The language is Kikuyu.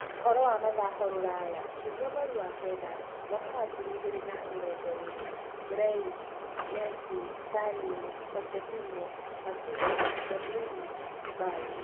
Ũhoro wa mathako rũraya kiumia mweri kenda wa-kerĩ Mwaka wa ngiri igĩrĩ na mĩrongo ĩĩrĩ: Grealish, Messi, Sterling, Pochettino, Coutinho, De Bruyne, Bale